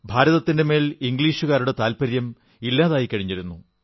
ഭാരതത്തിന്റെ മേൽ ഇംഗ്ലീഷുകാരുടെ താത്പര്യം ഇല്ലാതെയായിക്കഴിഞ്ഞിരുന്നു